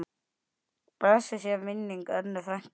Blessuð sé minning Önnu frænku.